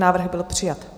Návrh byl přijat.